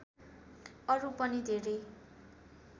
अरू पनि धैरै